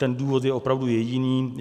Ten důvod je opravdu jediný.